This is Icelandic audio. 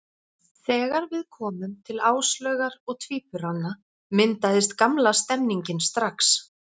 Þegar við komum til Áslaugar og tvíburanna, myndaðist gamla stemningin strax.